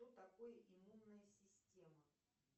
что такое иммунная система